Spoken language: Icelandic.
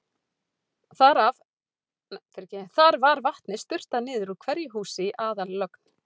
Þar var vatni sturtað niður úr hverju húsi í aðallögn.